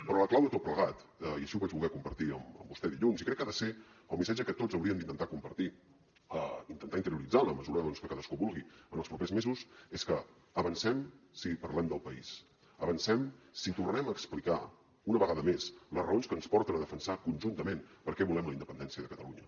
però la clau de tot plegat i així ho vaig voler compartir amb vostè dilluns i crec que ha de ser el missatge que tots hauríem d’intentar compartir intentar interioritzar en la mesura que cadascú ho vulgui en els propers mesos és que avancem si parlem del país avancem si tornem a explicar una vegada més les raons que ens porten a defensar conjuntament per què volem la independència de catalunya